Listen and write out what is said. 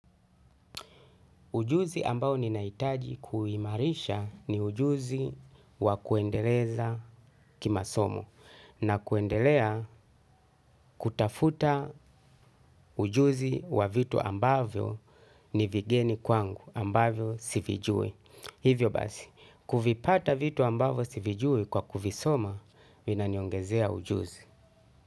Ujuzi ambao ninahitaji kuimarisha ni ujuzi wa kuendeleza kimasomo na kuendelea kutafuta ujuzi wa vitu ambavyo ni vigeni kwangu ambavyo sivijui. Hivyo basi, kuvipata vitu ambavyo sivijui kwa kuvisoma vinaniongezea ujuzi.